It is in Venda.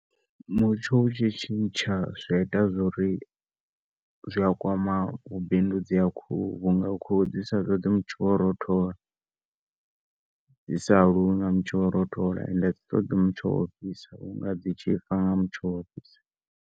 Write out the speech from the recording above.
Mutsho utshi tshintsha zwi aita zwouri zwiya kwama u bindudza ha khuhu vhunga khuhu dzi sa ṱoḓi mutsho wa u rothola and adzi ṱoḓi mutsho wa u fhisa vhunga dzi tshifa nga mutsho wa u fhisa.